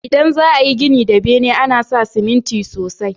Idan za a yi gini da bene, ana sa ciminti sosai.